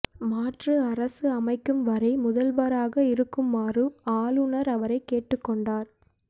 மாற்று அரசு அமைக்கும் வரை முதல்வராக இருக்குமாறூ ஆளுனர் அவரை கேட்டுக்கொண்டார்